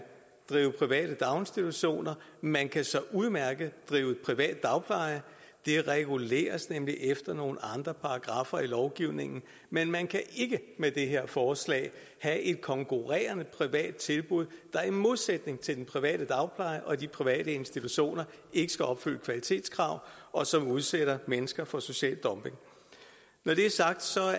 drive private daginstitutioner man kan så udmærket drive privat dagpleje det reguleres efter nogle andre paragraffer i lovgivningen men man kan ikke med det her forslag have et konkurrerende privat tilbud der i modsætning til den private dagpleje og de private institutioner ikke skal opfylde kvalitetskrav og som udsætter mennesker for social dumping når det er sagt